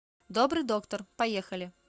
добрый доктор поехали